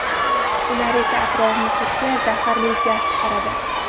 Ular esa atrof-muhitga zaharli gaz chiqaradi.